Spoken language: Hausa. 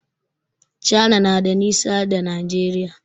Cana na da nisa da Nigeria.